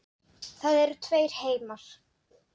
Það eru tveir heimar.